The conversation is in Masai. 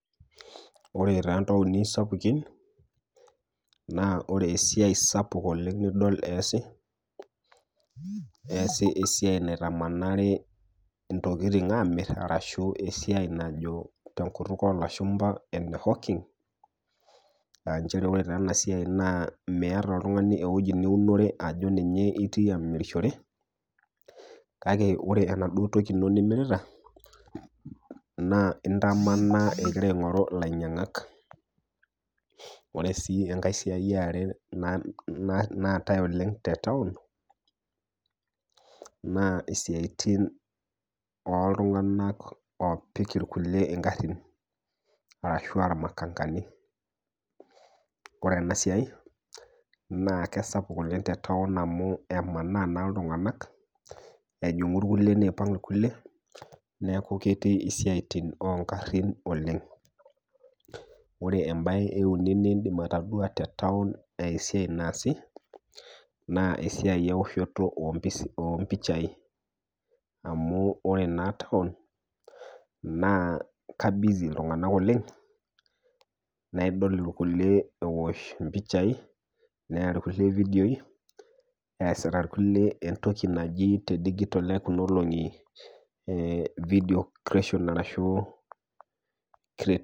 Wore toontaoni sapukin, naa wore esiai sapuk oleng' nidol eesi, eesi esiai naitamanari intokitin aamirr arashu esiai najo tenkut oolashumba ene [c]hawking[c] aa nchere wore taa ena siai naa Miata oltungani ewoji niunore ajo ninye itii amirishore, kake wore enaduo toki ino nimirita, naa intamanaa ikira aingorru ilainyangak. Wore sii enkae siai eare naatae oleng' te taon, naa isiatin oltunganak oopik irkulie ingarrin arashu aa [c] makanga [c]. Wore ena siai, naa kesapuk oleng' te taon amu emanaa naa iltunganak ejungu irkulie niipang irkulie, neeku ketii isiatin oo nkarrin oleng'. Wore embae eeuni niindim atodua te taon enaa esiai naasi, naa esiai eoshoto oompichai. Amu wore naa taon naa ka [c] busy [c] iltunganak oleng',naa idol irkulie eosh impicha, neya irkulie ividioi, eesita irkulie entoki naji te [c]digital[c] ekuna olongi [c]video creation[c] arashu creativity